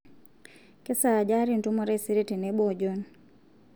kesaaja aata entumo taisere tenebo o John